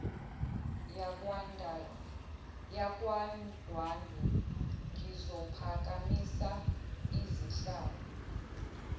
yakwandwandwe ngizophakamisa izihlangu